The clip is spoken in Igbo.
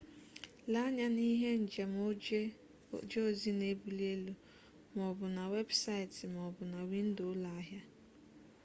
lee anya na ihe njem oje ozi na ebuli elu ma o bu na webusaiti ma o bu na windo ulo ahia